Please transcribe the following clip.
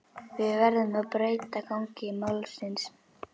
Við verðum að breyta gangi málsins.